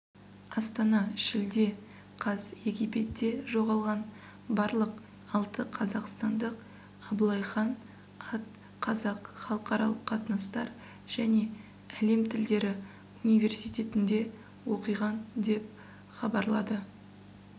астана шілде қаз египетте жоғалған барлық алты қазақстандық абылай хан ат қазақ халықаралық қатынастар және әлем тілдері университетінде оқиған деп хабарлады